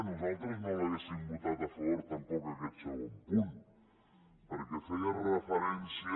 nosaltres no hauríem votat a favor tampoc en aquest segon punt perquè feia referència